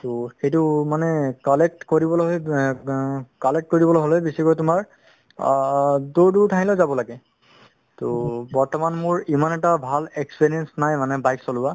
ট সেইটো মানে collect কৰিবলৈ অব collect কৰিবলৈ হলে বেচিকৈ তুমাৰ আ দুৰ দুৰ ঠাইলৈ যাব লাগে ট বৰ্তমান মোৰ ইমান এটা ভাল experience নাই মানে bike চলোৱা